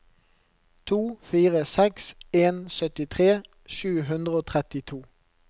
to fire seks en syttitre sju hundre og trettito